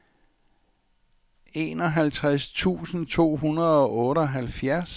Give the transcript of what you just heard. enoghalvtreds tusind to hundrede og otteoghalvfjerds